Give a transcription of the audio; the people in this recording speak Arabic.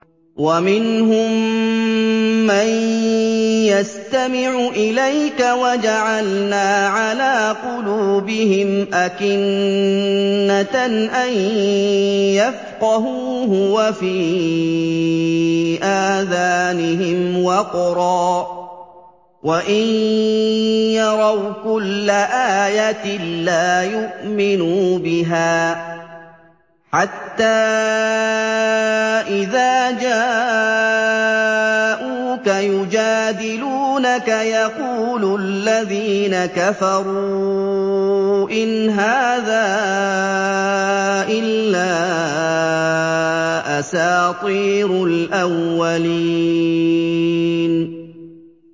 وَمِنْهُم مَّن يَسْتَمِعُ إِلَيْكَ ۖ وَجَعَلْنَا عَلَىٰ قُلُوبِهِمْ أَكِنَّةً أَن يَفْقَهُوهُ وَفِي آذَانِهِمْ وَقْرًا ۚ وَإِن يَرَوْا كُلَّ آيَةٍ لَّا يُؤْمِنُوا بِهَا ۚ حَتَّىٰ إِذَا جَاءُوكَ يُجَادِلُونَكَ يَقُولُ الَّذِينَ كَفَرُوا إِنْ هَٰذَا إِلَّا أَسَاطِيرُ الْأَوَّلِينَ